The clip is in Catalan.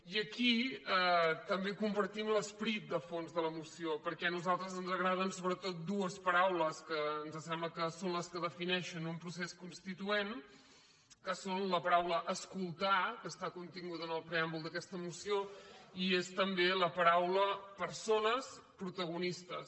i aquí tam·bé compartim l’esperit de fons de la moció perquè a nosaltres ens agraden sobretot dues paraules que ens sembla que són les que defineixen un procés consti·tuent que són la paraula escoltar que està contin·guda en el preàmbul d’aquesta moció i és també la paraula persones protagonistes